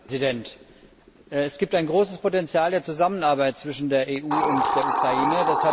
Herr Präsident! Es gibt ein großes Potential der Zusammenarbeit zwischen der EU und der Ukraine.